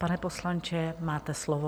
Pane poslanče, máte slovo.